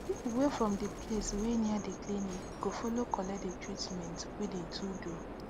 people wey from de place wey near de clinic go follow collect de treatment wey de to do